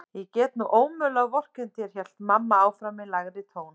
Ég get nú ómögulega vorkennt þér hélt mamma áfram í lægri tón.